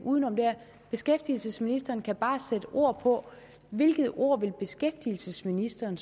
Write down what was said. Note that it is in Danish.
beskæftigelsesministeren kan bare sætte ord på hvilket ord beskæftigelsesministeren